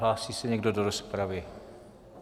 Hlásí se někdo do rozpravy?